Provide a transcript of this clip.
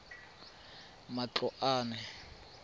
matloane